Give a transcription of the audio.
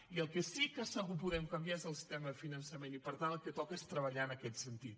i el que sí que segur que podem canviar és el sistema de finançament i per tant el que toca és treballar en aquest sentit